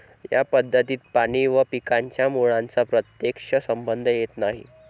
या पद्धतीत पाणी व पिकांच्या मुळांचा प्रत्येक्ष संबंध येत नाही.